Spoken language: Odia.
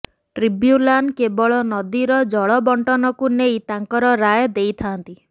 ଟ୍ରିବ୍ୟୁନାଲ କେବଳ ନଦୀର ଜଳବଣ୍ଟନକୁ ନେଇ ତାଙ୍କର ରାୟ ଦେଇଥାନ୍ତି